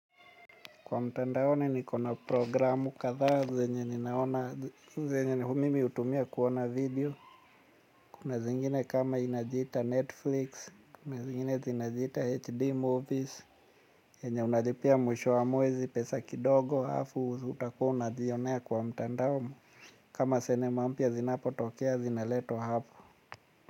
Kwa mtandaoni niko na programu kadha zenye ninaona, zenye mimi hutumia kuona video. Kuna zingine kama inajita Netflix, kuna zingine zinajita HD movies, zenye unalipia mwisho wa mwezi pesa kidogo alafu utakua unazionea kwa mtandao. Kama sinema mpya zinapo tokea zinaletwa hapo.